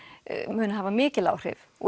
munu hafa mikil áhrif og